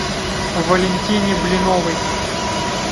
валентине блиновой